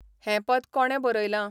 हेंं पद कोणे बरयलां ?